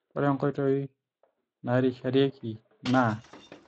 ore nkoitoi nairisharieki naa;